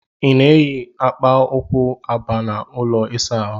I na-eyi akpa ụkwụ aba n'ụlọ ịsa ahụ?